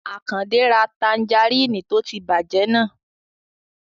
Àkàndé ra tanjarínnì tó ti bàjẹ́ náà